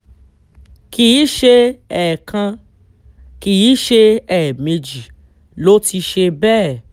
kì í ṣe ẹ̀ẹ̀kan kì í ṣe ẹ̀ẹ̀mejì ló ti ṣe bẹ́ẹ̀